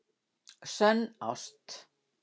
Sönn ást